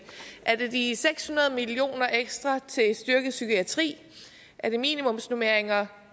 er det de seks hundrede million kroner ekstra til at styrke psykiatri er det minimumsnormeringer